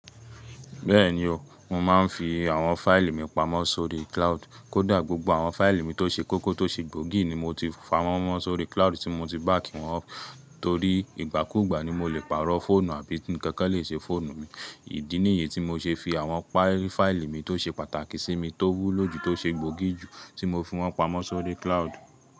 Bẹ́ẹ̀ni o, mo máa ń fi àwọn fáìlì mi pamọ́ sórí cloud. Kódà gbogbo àwọn fáìlì mi tó ṣe kókó tó ṣe gbòógì ni mo ti pawọ́n mọ́ sórí cloud tí mo ti bàkì wọn up. Torí ìgbàkúgbà ni mo le pàrọ̀ fóònù àbí ǹkan kan lè ṣe fóònù mi. Ìdí nìyí tí mo ṣe fi àwọn fáìlì mi tó ṣe pàtàkì sí mi tó wúlò jù tó ṣe gbòógì jù tí mo fi wọ́n pamọ́ sórí cloud.